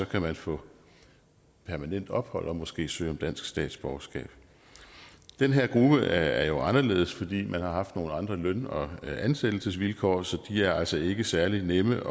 kan man få permanent ophold og måske søge om dansk statsborgerskab den her gruppe er jo anderledes fordi man har haft nogle andre løn og ansættelsesvilkår så de er altså ikke særlig nemme